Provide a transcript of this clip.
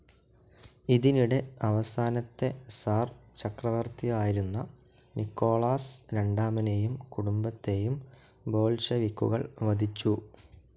ഇതിനിടെ അവസാനത്തെ സിർ ചക്രവർത്തിയായിരുന്ന നിക്കോളാസ് രണ്ടാമനേയും കുടുംബത്തേയും ബോൾഷെവിക്കുകൾ വധിച്ചു.